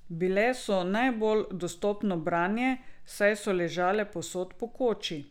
Bile so najbolj dostopno branje, saj so ležale povsod po koči.